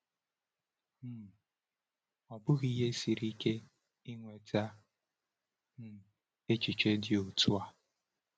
um Ọ bụghị ihe siri ike inweta um echiche dị otu a.